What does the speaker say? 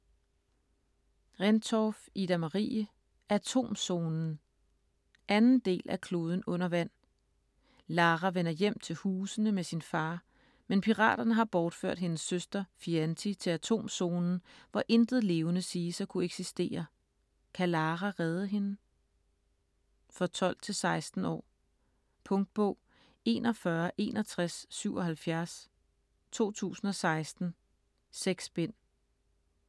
Rendtorff, Ida-Marie: Atomzonen 2. del af Kloden under vand. Lara vender hjem til Husene med sin far, men piraterne har bortført hendes søster Fianti til Atomzonen, hvor intet levende siges at kunne eksistere. Kan Lara redde hende? For 12-16 år. Punktbog 416177 2016. 6 bind.